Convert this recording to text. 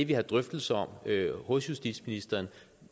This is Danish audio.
vi har drøftelser om hos justitsministeren